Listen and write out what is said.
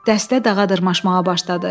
Dəstə dağa dırmaşmağa başladı.